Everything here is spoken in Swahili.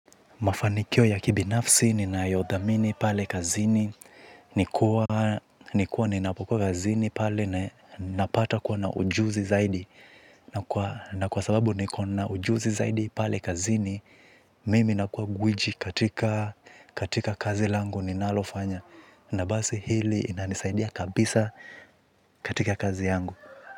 Mafanikio ya kibinafsi ninayo dhamini pale kazini ni kuwa ninapokuwa kazini pale na napata kuwa na ujuzi zaidi na kwa sababu ni kuwa na ujuzi zaidi pale kazini mimi nakuwa gwiji katika katika kazi langu ninalofanya na basi hili inanisaidia kabisa katika kazi yangu.